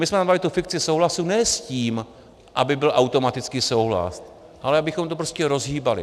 My jsme tam dali tu fikci souhlasu ne s tím, aby byl automaticky souhlas, ale abychom to prostě rozhýbali.